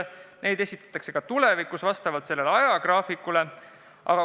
Ja neid esitatakse ka tulevikus vastavalt ajagraafikule.